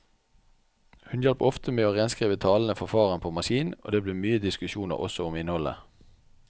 Hun hjalp ofte med å renskrive talene til faren på maskin, og det ble mye diskusjoner også om innholdet.